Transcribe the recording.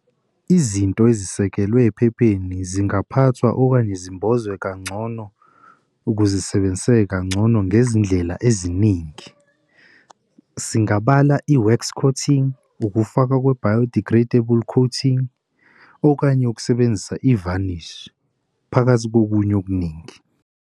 Izinto ezisekelwe ephepheni zingaphathwa okanye zimbozwe kangcono, ukuze isebenzisesrke kangcono ngezindlela eziningi. Singabala i-wax coating, ukufaka kwe-biodegradable coating, okanye ukusebenzisa ivanishi phakathi kokunye okuningi.